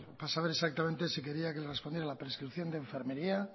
para saber exactamente si quería que le respondiera a la prescripción de enfermería